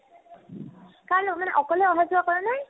কাৰ লগেন অকলে অহা-যোৱা কৰা নাই